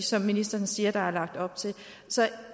som ministeren siger der er lagt op til så